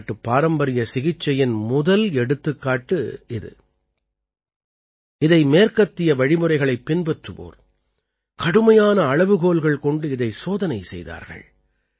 பாரதநாட்டுப் பாரம்பரிய சிகிச்சையின் முதல் எடுத்துக்காட்டு இது இதை மேற்கத்திய வழிமுறைகளைப் பின்பற்றுவோர் கடுமையான அளவுகோல்கள் கொண்டு இதை சோதனை செய்தார்கள்